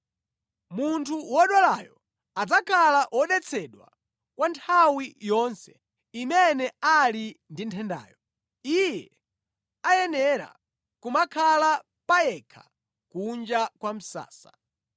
Munthu wodwalayo adzakhala wodetsedwa kwa nthawi yonse imene ali ndi nthendayo. Iye ayenera kumakhala payekha kunja kwa msasa.